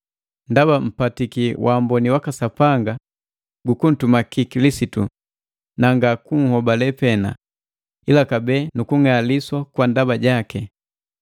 Ndaba mpatiki wamboni waka Sapanga gu kuntumaki Kilisitu, na nga kunhobale pena, ila kabee nukung'aliswa kwa ndaba jaki,